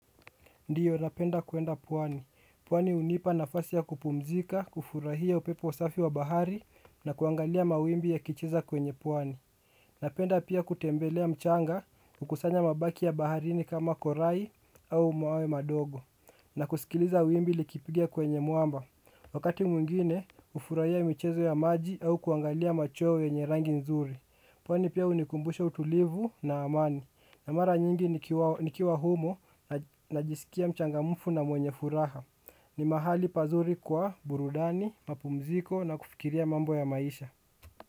Ndio, napenda kuenda pwani. Pwani hunipa nafasi ya kupumzika, kufurahia upepo safi wa bahari na kuangalia mawimbi yakicheza kwenye pwani. Napenda pia kutembelea mchanga, kukusanya mabaki ya baharini kama korai au mawe madogo. Na kusikiliza wimbi likipigia kwenye mwamba. Wakati mwingine, hufurahia michezo ya maji au kuangalia machowe yenye rangi nzuri. Pwani pia hunikumbusha utulivu na amani. Na mara nyingi nikiwa humo najisikia mchangamfu na mwenye furaha. Ni mahali pazuri kwa burudani, mapumziko na kufikiria mambo ya maisha.